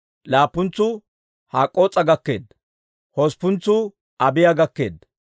Laappuntsuu Hak'k'oos'a gakkeedda. Hosppuntsuu Abiiya gakkeedda.